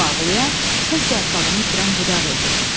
Bu ağlayan tək yarpağını itirən budaq idi.